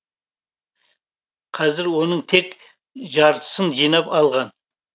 қазір оның тек жартысын жинап алған